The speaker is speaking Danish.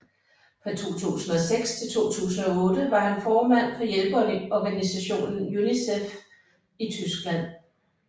Fra 2006 til 2008 var han formand for hjælpeorganisationen UNICEF i Tyskland